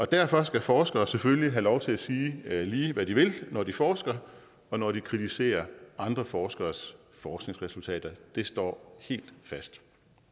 derfor skal forskere selvfølgelig have lov til at sige lige hvad de vil når de forsker og når de kritiserer andre forskeres forskningsresultater det står helt fast